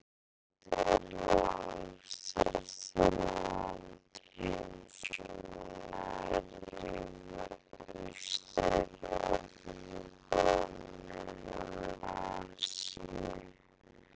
Rússland er langstærsta land heims og nær yfir Austur-Evrópu og Norður-Asíu.